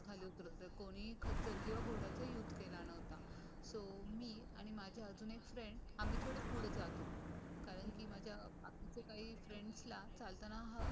जाये कोणीही खचर किंवा घोड्याचा युज केला नव्हता. सो मी आणि माझे आजून एक फ्रेंड आम्ही थोडे पुढे जात होतो. कारण की माझ्या बाकीच्या काही फ्रेंड ला चालताना हा